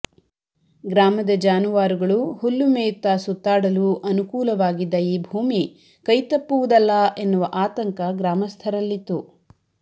ಗ್ರಾಮದ ಜಾನುವಾರುಗಳು ಹುಲ್ಲು ಮೇಯುತ್ತ ಸುತ್ತಾಡಲು ಅನುಕೂಲವಾಗಿದ್ದ ಈ ಭೂಮಿ ಕೈತಪ್ಪುವುದಲ್ಲ ಎನ್ನುವ ಆತಂಕ ಗ್ರಾಮಸ್ಥರಲ್ಲಿತ್ತು